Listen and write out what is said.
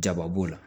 Jaba b'o la